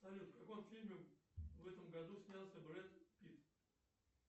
салют в каком фильме в этом году снялся брэд питт